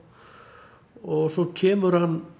og svo kemur